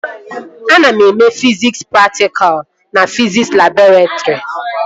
Ana eme fiziks praktikalụ na fiziks labọretrị